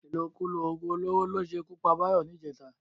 Ìlòkulò ògùn olóró ló ṣe ikú pa Báyọ̀ ní ìjẹta